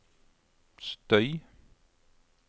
støy